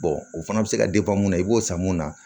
o fana bɛ se ka mun na i b'o san mun na